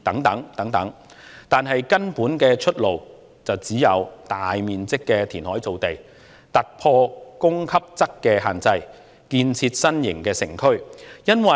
但是，根本的出路只有大面積的填海造地，突破供給側的限制，建設新型城區。